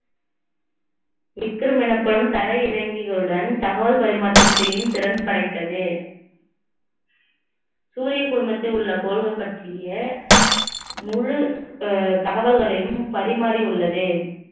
விக்ரம் எனப்படும் தரை இறங்கிகளுடன் தகவல் பரிமாற்றம் செய்யும் திறன் படைத்தது சூரிய குடும்பத்தில் உள்ள கோள்கள் பற்றிய முழு அஹ் தகவல்களையும் பரிமாறி உள்ளது